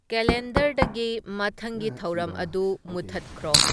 ꯀꯦꯂꯦꯟꯗꯔꯗꯒꯤ ꯃꯊꯪꯒꯤ ꯊꯧꯔꯝ ꯑꯗꯨ ꯃꯨꯊꯠꯈ꯭ꯔꯣ